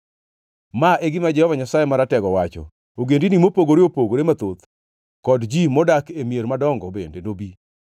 Ma e gima Jehova Nyasaye Maratego wacho: “Ogendini mopogore opogore mathoth kod ji modak e mier madongo bende nobi,